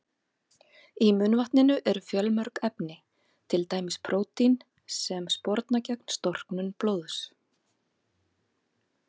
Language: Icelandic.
Í munnvatninu eru fjölmörg efni, til dæmis prótín sem sporna gegn storknun blóðs.